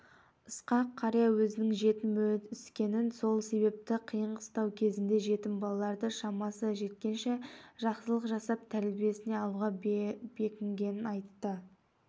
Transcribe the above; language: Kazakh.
ысқақ қария өзінің жетім өскенін сол себепті қиын-қыстау кезеңде жетім балаларды шамасы жеткенше жақсылық жасап тәрбиесіне алуға бекінгенін айтты